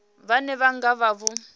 vhane vha nga vha vho